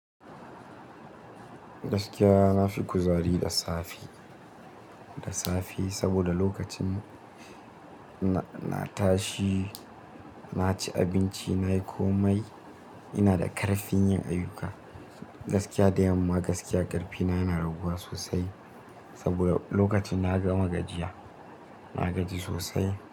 Gaskiya na fi kuzari da safe, da safe saboda lokacin na tashi, na ci abinci, nayi komai, ina da ƙarfin yin ayyuka. Gaskiya da yamma gaskiya ƙarfina yana raguwa sosai saboda lokacin na gama gajiya, na gaji sosai.